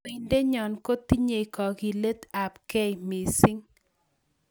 Kandoindenyo kotinyei kakilet ab kei mising